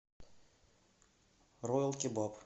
роял кебаб